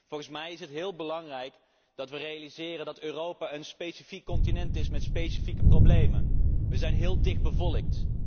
Volgens mij is het heel belangrijk dat we realiseren dat Europa een specifiek continent is met specifieke problemen. We zijn heel dichtbevolkt.